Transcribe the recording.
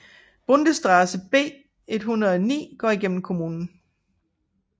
Bundesstraße B 109 går gennem kommunen